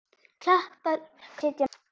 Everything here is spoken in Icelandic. Kappar gjarnan setja met.